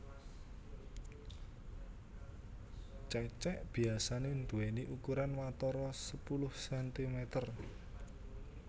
Cecek biasané nduwèni ukuran watara sepuluh sentimeter